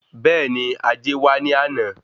Bẹ́ẹ̀ni, ajé wa ní àná